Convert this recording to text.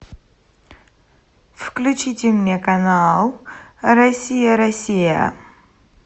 включите мне канал россия россия